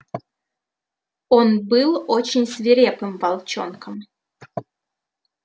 он был очень свирепым волчонком